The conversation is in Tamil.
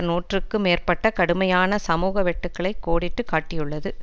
நூற்றுக்கு மேற்பட்ட கடுமையான சமூக வெட்டுகளை கோடிட்டு காட்டியுள்ளது